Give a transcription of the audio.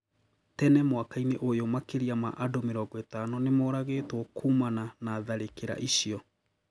Tene mwaka-inĩ ũyũ makĩria ma andu mĩrongo ĩtano nĩmoragĩtwo kũmana na tharĩkĩra icio